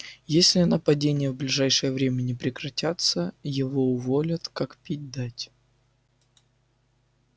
если нападения в ближайшее время не прекратятся его уволят как пить дать